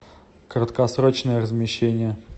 краткосрочное размещение